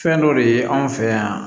Fɛn dɔ de ye anw fɛ yan